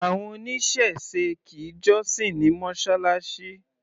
Àwọn oníṣẹ̀se kì í jọ́sìn ní Mọ́ṣáláṣí.